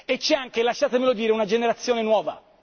E c'è anche, lasciatemelo dire, una generazione nuova.